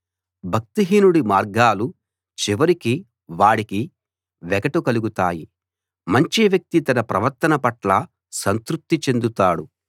భక్తిహీనుడి మార్గాలు చివరికి వాడికే వెగటు కలుగుతాయి మంచి వ్యక్తి తన ప్రవర్తన పట్ల సంతృప్తి చెందుతాడు